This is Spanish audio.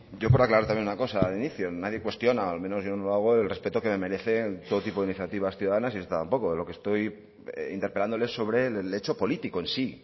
yo por aclarar también una cosa del inicio nadie cuestiona al menos yo no lo hago el respeto que me merecen todo tipo de iniciativas ciudadanas y esta tampoco lo que estoy interpelándole es sobre el hecho político en sí